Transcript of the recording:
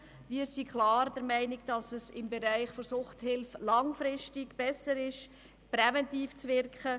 Wir sind klar der Meinung, dass es im Bereich der Suchthilfe langfristig besser ist, präventiv zu wirken.